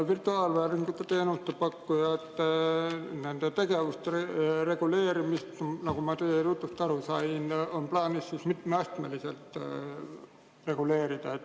Virtuaalvääringu teenuse pakkujate tegevuste reguleerimist, nagu ma teie jutust aru sain, on plaanis mitmeastmeliselt reguleerida.